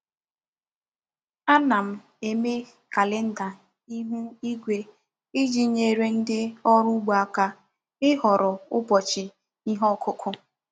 Ana m eme kalenda ihu igwe iji nyere ndị ọrụ ugbo aka ịhọrọ ụbọchị ihe ọkụkụ.